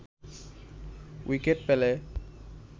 wicket পেলে